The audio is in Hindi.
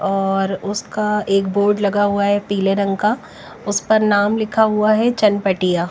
और उसका एक बोर्ड लगा हुआ है पीले रंग का उस पर नाम लिखा हुआ है चनपटिया।